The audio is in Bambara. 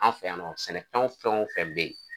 An fɛ yan nɔ sɛnɛfɛnw fɛnw bɛ yen